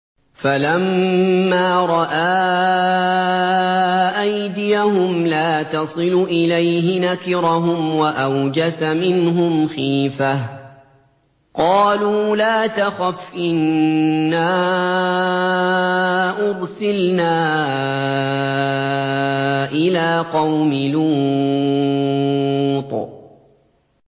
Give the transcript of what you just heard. فَلَمَّا رَأَىٰ أَيْدِيَهُمْ لَا تَصِلُ إِلَيْهِ نَكِرَهُمْ وَأَوْجَسَ مِنْهُمْ خِيفَةً ۚ قَالُوا لَا تَخَفْ إِنَّا أُرْسِلْنَا إِلَىٰ قَوْمِ لُوطٍ